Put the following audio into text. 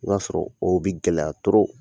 O b'a sɔrɔ o bi gɛlɛya toro